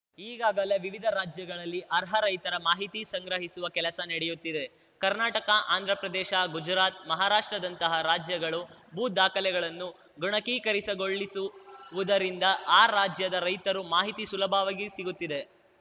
ಈಗಾಗಲೇ ವಿವಿಧ ರಾಜ್ಯಗಳಲ್ಲಿ ಅರ್ಹ ರೈತರ ಮಾಹಿತಿ ಸಂಗ್ರಹಿಸುವ ಕೆಲಸ ನಡೆಯುತ್ತಿದೆ ಕರ್ನಾಟಕ ಆಂಧ್ರಪ್ರದೇಶ ಗುಜರಾತ್‌ ಮಹಾರಾಷ್ಟ್ರದಂತಹ ರಾಜ್ಯಗಳು ಭೂ ದಾಖಲೆಗಳನ್ನು ಗಣಕೀಕರಸಗೊಳ್ಳುಸಿವುದರಿಂದ ಆ ರಾಜ್ಯದ ರೈತರು ಮಾಹಿತಿ ಸುಲಭವಾಗಿ ಸಿಗುತ್ತಿದೆ